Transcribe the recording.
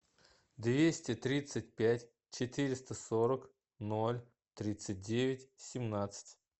двести тридцать пять четыреста сорок ноль тридцать девять семнадцать